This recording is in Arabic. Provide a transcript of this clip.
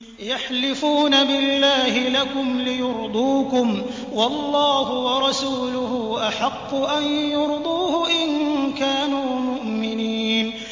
يَحْلِفُونَ بِاللَّهِ لَكُمْ لِيُرْضُوكُمْ وَاللَّهُ وَرَسُولُهُ أَحَقُّ أَن يُرْضُوهُ إِن كَانُوا مُؤْمِنِينَ